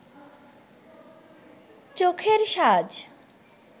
চোখের সাজ